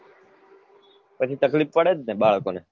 પછી તકલીફ પડેજ ને બાળકો ને